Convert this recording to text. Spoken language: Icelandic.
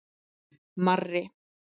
Marri